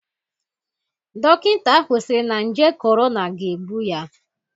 Dokinta ahụ siri na nje korona ga-egbu ya.